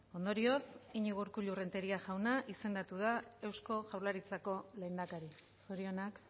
ondorioz iñigo urkullu renteria jauna izendatu da eusko jaurlaritzako lehendakari zorionak